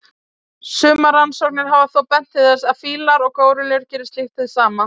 Sumar rannsóknir hafa þó bent til þess að fílar og górillur geri slíkt hið sama.